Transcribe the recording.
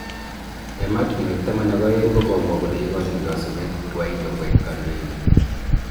Emotunwek taman ak aeng kokomwa kole ikojin kasubet Guaido koek kandoindet.